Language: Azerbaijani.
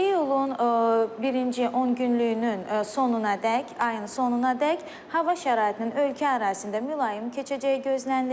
İyulun birinci 10 günlükünün sonunadək, ayın sonunadək hava şəraitinin ölkə ərazisində mülayim keçəcəyi gözlənilir.